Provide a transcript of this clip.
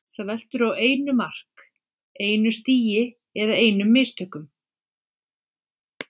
Þetta veltur á einu mark, einu stigi eða einum mistökum.